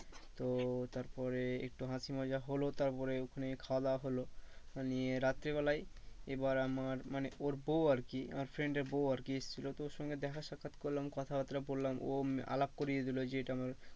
তো তারপরে একটু হাসি মজা হলো তারপরে ওখানে খাওয়া দাওয়া হলো। নিয়ে রাত্রে বেলায় এবার আমার মানে ওর বউ আরকি আমার friend এর বউ আরকি এসছিল তো ওর সঙ্গে দেখা সাক্ষাৎ করলাম কথা বার্তা বললাম ও আলাপ করিয়ে দিলো যে এটা আমার